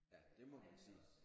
Ja det må man sige